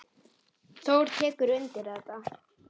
Þór tekur undir þetta.